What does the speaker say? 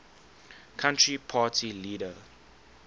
country party leader